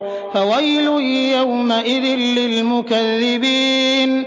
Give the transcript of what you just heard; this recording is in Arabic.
فَوَيْلٌ يَوْمَئِذٍ لِّلْمُكَذِّبِينَ